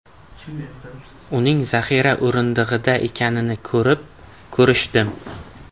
Uning zaxira o‘rindig‘ida ekanini ko‘rib, ko‘rishdim.